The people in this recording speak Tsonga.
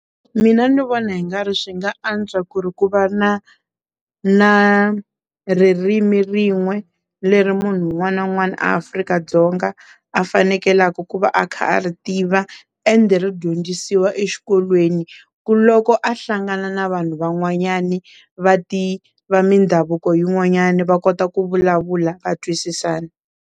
Mina ni vona hi nga ri swi nga antswa ku ri ku va na na ririmi rin'we leri munhu un'wana na un'wana Afrika-dzonga a fanekelaka ku va a kha ri a tiva ende ri dyondzisiwa exikolweni ku loko a hlangana na vanhu van'wanyani va mindhavuko yin'wanyani va kota ku vulavula va twisisana.